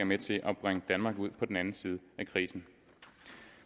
med til at bringe danmark ud på den anden side af krisen